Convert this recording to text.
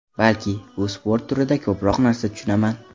Balki, bu sport turida ko‘proq narsa tushunaman.